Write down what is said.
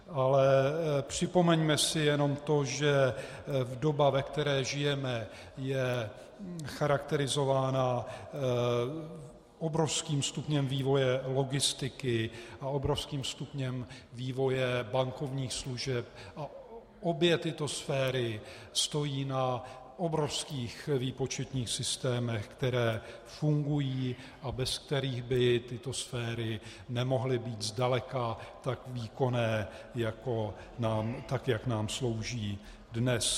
Ale připomeňme si jenom to, že doba, ve které žijeme, je charakterizována obrovským stupněm vývoje logistiky a obrovským stupněm vývoje bankovních služeb, a obě tyto sféry stojí na obrovských výpočetních systémech, které fungují a bez kterých by tyto sféry nemohly být zdaleka tak výkonné, tak jak nám slouží dnes.